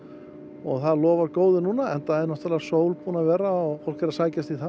og lofar góðu núna enda er náttúrulega sól búin að vera og fólk er að sækjast í það